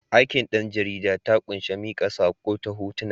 Aikin ɗan jarida ta ƙunshi miƙa saƙo ta hotuna.